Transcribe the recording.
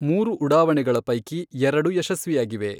ಮೂರು ಉಡಾವಣೆಗಳ ಪೈಕಿ ಎರಡು ಯಶಸ್ವಿಯಾಗಿವೆ.